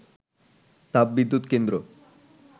তাপবিদ্যুৎ কেন্দ্র